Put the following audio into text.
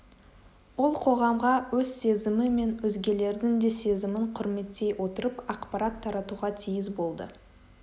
ол қоғамға өз сезімі мен өзгелердің де сезімін құрметтей отырып ақпарат таратуға тиіс болды